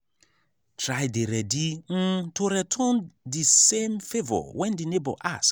try dey ready um to return di same favour when di neigbour ask